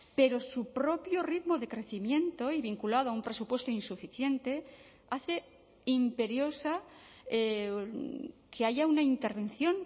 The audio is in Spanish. pero su propio ritmo de crecimiento y vinculado a un presupuesto insuficiente hace imperiosa que haya una intervención